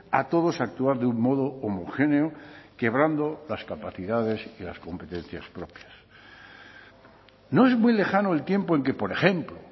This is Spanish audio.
a todos a actuar de un modo homogéneo quebrando las capacidades y las competencias propias no es muy lejano el tiempo en que por ejemplo